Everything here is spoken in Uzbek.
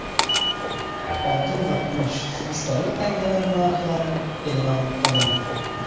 Oltin va kumush esdalik tangalar narxlari e’lon qilindi.